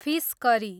fees curry